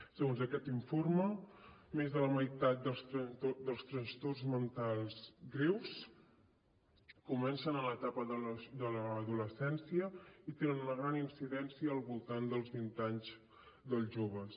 segons aquest informe més de la meitat dels trastorns mentals greus comencen en l’etapa de l’adolescència i tenen una gran incidència al voltant dels vint anys dels joves